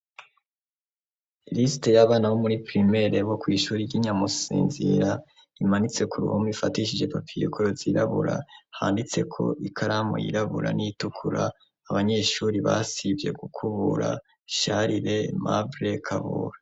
Liste y'abana bo muri primere bo kw'ishuri ry'Inyamusinzira, imanitseko ku ruhume ifatishije papiye kora zirabura handitseko ikaramu y'irabura n'itukura, abanyeshuri basivye kukubura Sharire, Emabre, Kabura.